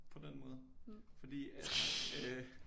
På den måde fordi at øh